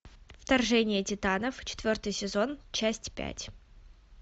вторжение титанов четвертый сезон часть пять